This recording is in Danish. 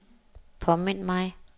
påmind mig